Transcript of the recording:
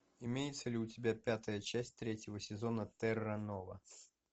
имеется ли у тебя пятая часть третьего сезона терра нова